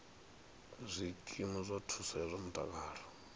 zwikimu zwa thuso ya zwa mutakalo